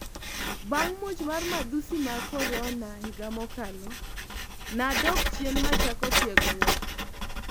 Bang' muoch mar madhusi mag Corona higa mokalo, nadok chien machako tiegruok